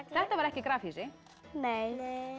þetta var ekki grafhýsi nei